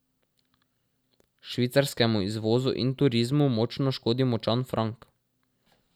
Švicarskemu izvozu in turizmu močno škodi močan frank.